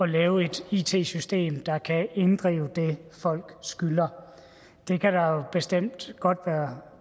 lave et it system der kan inddrive det folk skylder det kan der jo bestemt godt være